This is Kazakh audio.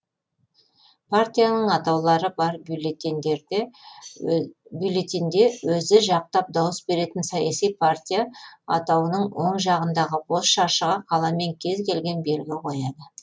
партияның атаулары бар бюллетенъде өзі жақтап дауыс беретін саяси партия атауының оң жағындағы бос шаршыға қаламмен кез келген белгі кояды